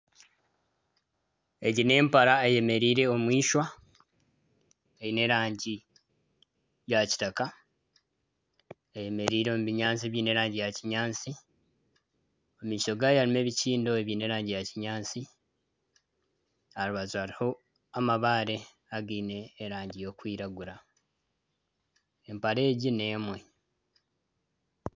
Egi n'empare eyemereire omu ishwa eine erangi ya kitaka. Eyemereire omu bunyaatsi ebyine erangi yakinyaatsi. Omu maisho gaayo harimu ebikiindo ebyine erangi ya kinyaatsi. Aha rubaju hariho amabaare againe erangi erikwiragura. Empara egi n'emwe.